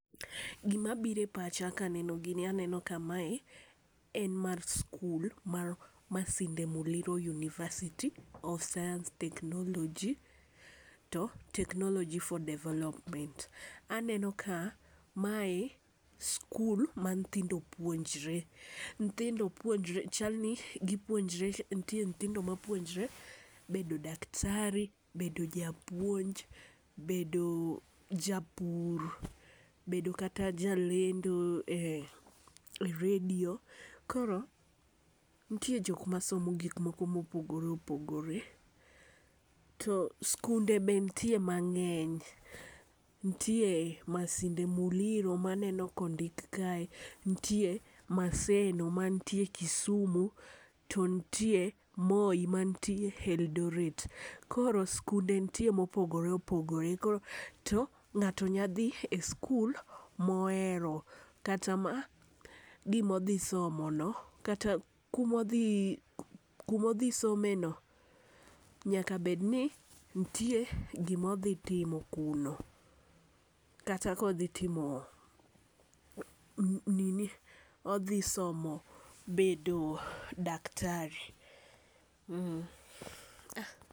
Gi ma biro e pacha ka aneno gini aneno ka mae en mar skul mar masinde muliro university of science technology to technology of development. Aneno ka mae skul ma nyithindo puonjre nyithindo puonjre chal ni gi puonjre nitie nyithindo ma puonjre bedo daktari, bedo japuonj, bedo japur, bedo kata jalendo e redio. Koro nitie jok ma somo gik moko ma opogore opogore to sikunde be nitie mangeny, nitie Masinde Muliro ma aneno ka ondik kae, nitie Maseno mantie Kisumu, to nitie Moi man tie Eldoret. koro nite sikunde ma opgore opogore koro to ng'ato nya dhi e skul ma ohero kata ma gi ma odhi somo no kata kuma odhi kuma odhi some ni nyaka bed ni nite gi ma odhi timo kuro kata ka odhi timo nini odhi somo bedo daktari.